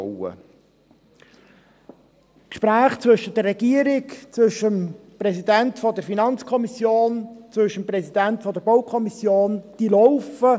Die Gespräche zwischen der Regierung, dem Präsidenten der FiKo und dem Präsidenten der BaK laufen.